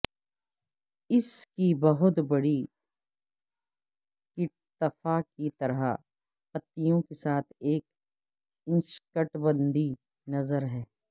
اس کی بہت بڑی کیٹتفا کی طرح پتیوں کے ساتھ ایک اشنکٹبندیی نظر ہے